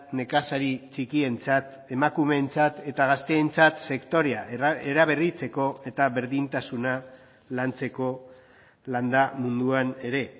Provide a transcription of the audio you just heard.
nekazari txikientzat emakumeentzat eta gazteentzat sektorea eraberritzeko eta berdintasuna lantzeko landa munduan ere